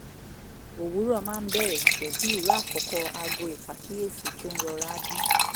òwúrọ̀ máa ń bẹ̀rẹ̀ pẹ̀lú ìró àkọ́kọ́ aago ìpàkíyèsí tó ń rọra dún